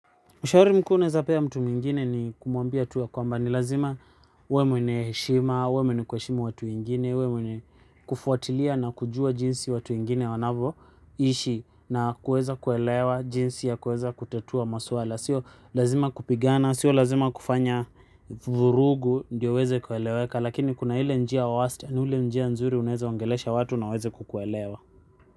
Ushauri mkuu naweza pea mtu mwingine ni kumwambia tu ya kwamba ni lazima huwe mwenye heshima, huwe mwenye kuheshimu watu wengine, huwe mwenye kufuatilia na kujua jinsi watu wengine wanavyo ishi na kuweza kuelewa jinsi ya kuweza kutatua masuala. Sio lazima kupigana, sio lazima kufanya vurugu ndiyo huweze kueleweka lakini kuna ile njia ya wastani unaweza ongelesha watu vizuri na waweze kukuelewa.